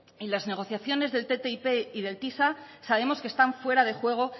y las negociaciones del ttip y del tisa sabemos que están fuera de juego